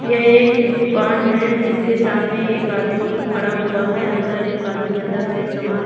यह एक दुकान है जिसके सामने एक आदमी खड़ा हुआ है अंदर एक आदमी अंदर से सामान--